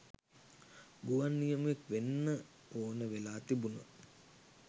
ගුවන් නියමුවෙක් වෙන්න ඕන වෙලා තිබුන.